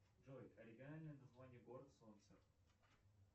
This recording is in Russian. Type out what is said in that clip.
джой оригинальное название город солнца